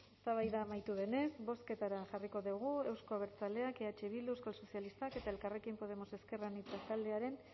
eztabaida amaitu denez bozketara jarriko dugu euzko abertzaleak eh bildu euskal sozialistak eta elkarrekin podemos ezker anitza taldearen